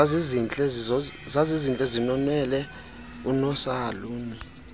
zazintle zinonwele unosaluni